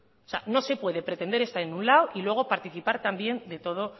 no se puede pretender estar en un lado y luego participar también de todo